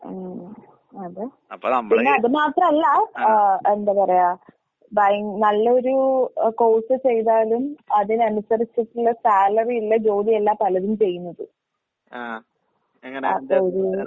ഉം. അതെ. പിന്നത് മാത്രല്ല ഏഹ് എന്താ പറയാ ഭയൻ നല്ലൊരു എ കോഴ്‌സ് ചെയ്താലും അതിനനുസരിച്ചിട്ടുള്ള സാലറിയുള്ള ജോലിയല്ല പലരും ചെയ്യുന്നത്. അതൊരൂ